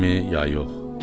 Mənimmi, ya yox?